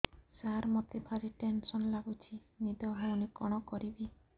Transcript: ସାର ମତେ ଭାରି ଟେନ୍ସନ୍ ଲାଗୁଚି ନିଦ ହଉନି କଣ କରିବି